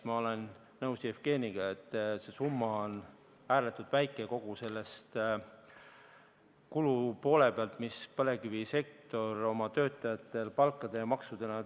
Ma olen nõus Jevgeniga, et eraldatav summa on ääretult väike võrreldes kogu kuluga, mis põlevkivisektor kulutab oma töötajatele palkadena ja maksudena.